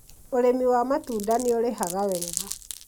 ũrĩmi wa matunda nĩũrĩhaga wega